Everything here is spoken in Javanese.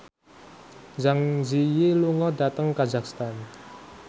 Zang Zi Yi lunga dhateng kazakhstan